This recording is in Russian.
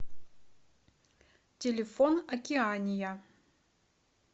телефон океания